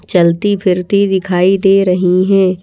चलती फिरती दिखाई दे रही हैं।